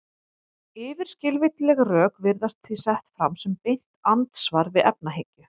Yfirskilvitleg rök virðast því sett fram sem beint andsvar við efahyggju.